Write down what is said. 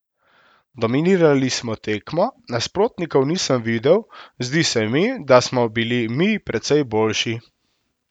Dominirali smo tekmo, nasprotnikov nisem videl, zdi se mi, da smo bili mi precej boljši.